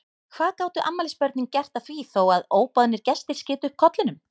Hvað gátu afmælisbörnin gert að því þó að óboðnir gestir skytu upp kollinum?